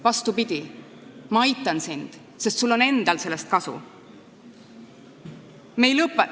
Vastupidi, ma aitan sind, sest sul endal on sellest kasu.